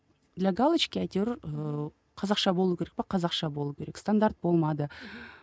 для галочки әйтеуір ыыы қазақша болу керек пе қазақша болу керек стандарт болмады мхм